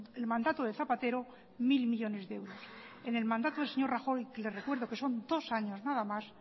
el mandato de zapatero mil millónes de euros en el mandato del señor rajoy le recuerdo que son dos años nada más